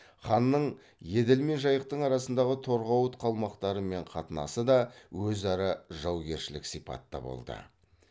ханның еділ мен жайықтың арасындағы торғауыт қалмақтарымен қатынасы да өзара жаугершілік сипатта болды